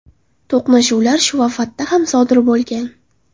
To‘qnashuvlar Shuafatda ham sodir bo‘lgan.